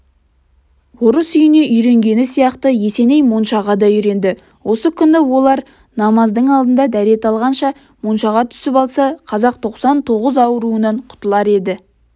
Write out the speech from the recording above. орыс үйіне үйренгені сияқты есеней моншаға да үйренді осы күні оләр намаздың алдында дәрет алғанша моншаға түсіп алса қазақ тоқсан тоғыз ауруынан құтылар еді